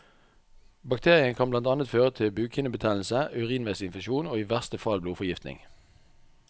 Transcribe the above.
Bakterien kan blant annet føre til bukhinnebetennelse, urinveisinfeksjon og i verste fall blodforgiftning.